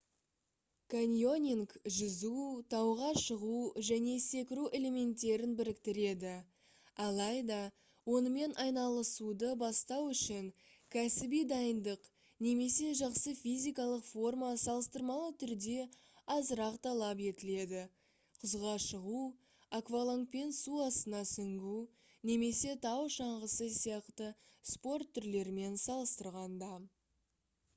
каньонинг жүзу тауға шығу және секіру элементтерін біріктіреді алайда онымен айналысуды бастау үшін кәсіби дайындық немесе жақсы физикалық форма салыстырмалы түрде азырақ талап етіледі құзға шығу аквалангпен су астына сүңгу немесе тау шаңғысы сияқты спорт түрлерімен салыстырғанда